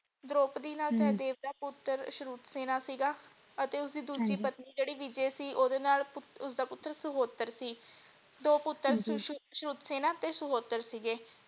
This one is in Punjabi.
ਦ੍ਰੋਪਦੀ ਨਾਲ ਹਮ ਸਹਿਦੇਵ ਦਾ ਪੁੱਤਰ ਸ਼੍ਰੁਤਸੇਨਾ ਸੀਗਾ ਅਤੇ ਉਸਦੀ ਦੂਜੀ ਹਾਂਜੀ ਪਤਨੀ ਜਿਹੜੀ ਵਿਜੈ ਸੀ ਓਦੇ ਨਾਲ ਉਸਦਾ ਪੁੱਤਰ ਸੁਹੋਤਰ ਸੀ ਦੋ ਪੁੱਤਰ ਹਾਂਜੀ ਸੀ ਸ਼੍ਰੁਤਸੇਨਾ ਤੇ ਸੁਹੋਤਰ ਸੀਗੇ।